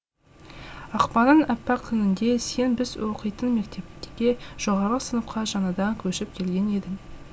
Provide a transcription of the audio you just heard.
ақпанның аппақ күнінде сен біз оқитын мектепке жоғарғы сыныпқа жаңадан көшіп келген едің